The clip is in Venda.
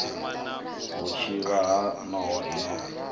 vhutshivha ha nowa i no